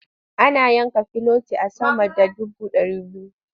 Ana yanka filoti a sama da dubu ɗari biyu.